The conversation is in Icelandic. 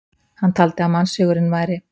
hann taldi að mannshugurinn væri